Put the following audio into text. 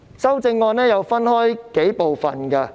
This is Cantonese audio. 修正案可分為數部分。